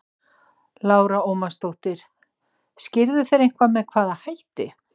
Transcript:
Lára Ómarsdóttir: Skýrðu þeir eitthvað með hvaða hætti?